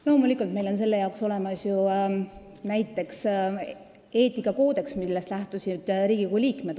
Loomulikult, meil on selle jaoks olemas ju näiteks eetikakoodeks, millest Riigikogu liikmed lähtusid.